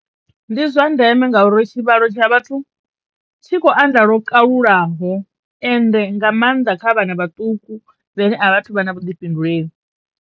Ndi zwa ndeme ngauri tshivhalo tsha vhathu tshi khou anḓa lwo kalulaho ende nga mannḓa kha vhana vhaṱuku vhane a vhathu vha na vhuḓifhinduleli.